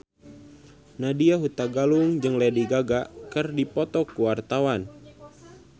Nadya Hutagalung jeung Lady Gaga keur dipoto ku wartawan